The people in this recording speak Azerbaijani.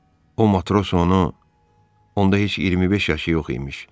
O matros onu onda heç 25 yaşı yox imiş.